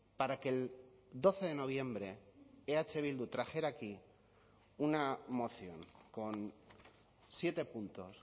para que el doce de noviembre eh bildu trajera aquí una moción con siete puntos